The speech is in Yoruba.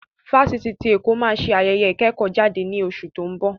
Fáṣítì tí Èkó máa ṣe ayẹyẹ ìkẹ́kọ̀ọ́-jáde ní oṣù tí ó ń bọ̀.